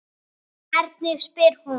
Hvernig spyr hún?